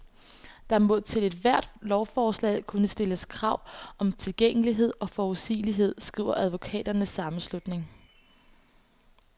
Der må til ethvert lovforslag kunne stilles krav om tilgængelighed og forudsigelighed, skriver advokaternes sammenslutning.